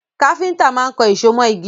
Káfíntà má kan èso mọ igi